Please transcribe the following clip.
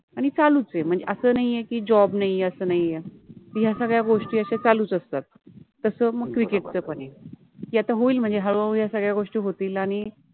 आणी चालुच आहे अस नाहि आहे कि जॉब नाहि आहे अस नाहि आहे या सगळ्या अश्या गोष्टी चालुच असतात तस मग क्रिकेट {cricket} च पण आहे ते आता होइल मनजे हळुहळु या सगळ्या गोष्टी होतिल आणी